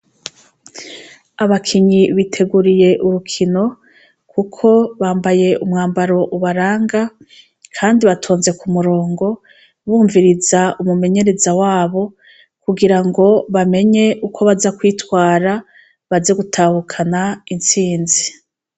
Abakinyi biteguriye urukino, kuko bambaye umwambaro ubaranga, kandi batonze ku murongo, bumviriza umumenyereza wabo, kugirango bamenye bamenye ukwo baza kwitwara, baze gutahukana intsinzi .